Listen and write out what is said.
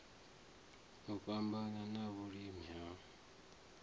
u fhambana na vhuhali ha